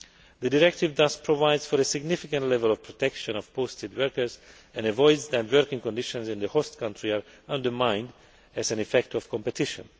The directive thus provides for a significant level of protection of posted workers and avoids that working conditions in the host country are undermined as an effect of competition.